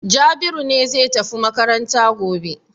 Jabiru ne zai tafi makaranta gobe.